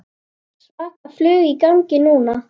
Svaka flug í gangi núna.